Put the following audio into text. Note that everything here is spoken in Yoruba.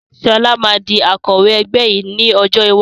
Sọlá máa di Akọ̀wẹ́ ẹgbẹ́ yìí ni ọjọ́ iwájú